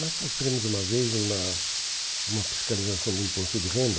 Nós sofremos uma vez uma uma fiscalização do imposto de renda.